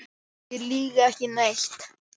Ég lýg ekki neitt.